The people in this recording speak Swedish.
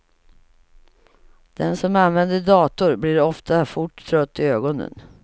Den som använder dator blir ofta fort trött i ögonen.